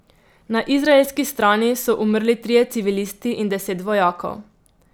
Na izraelski strani so umrli trije civilisti in deset vojakov.